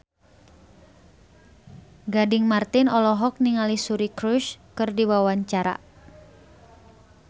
Gading Marten olohok ningali Suri Cruise keur diwawancara